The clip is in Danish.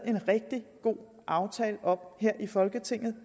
en rigtig god aftale om her i folketinget